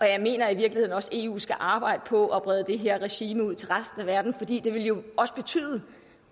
jeg mener i virkeligheden også at eu skal arbejde på at brede det her regime ud til resten af verden fordi det jo også